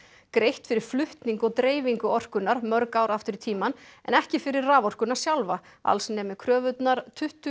greitt fyrir flutning og dreifingu orkunnar mörg ár aftur í tímann en ekki fyrir raforkuna sjálfa alls nemi kröfurnar tuttugu